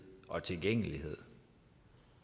og tilgængelighed